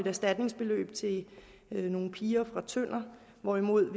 erstatningsbeløb til nogle piger fra tønder hvorimod